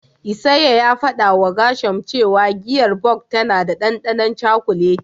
Isaiah ya fadawa Gershom cewa giyar Bok tana da dandanon cakuleti.